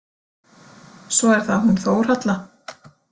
Svo er það hún Þórhalla.